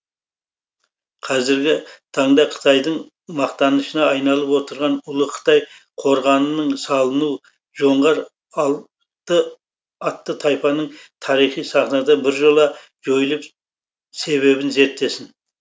қазіргі таңда қытайдың мақтанышына айналып отырған ұлы қытай қорғанының салыну жоңғар атты тайпаның тарихи сахнадан біржола жойылу себебін зерттесін